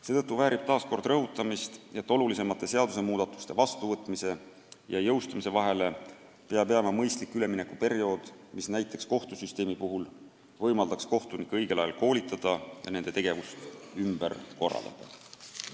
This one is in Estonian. Seetõttu väärib taas rõhutamist, et olulisemate seadusmuudatuste vastuvõtmise ja jõustumise vahele peab jääma mõistlik üleminekuperiood, mis näiteks kohtusüsteemi puhul võimaldaks kohtunikke õigel ajal koolitada ja nende tegevust ümber korraldada.